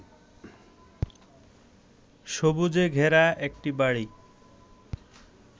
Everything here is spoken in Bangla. সবুজে ঘেরা একটি বাড়ি